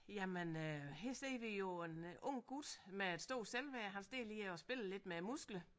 Jamen øh her ser vi jo en ung gut med et stort selvværd han står lige og spiller lidt med musklerne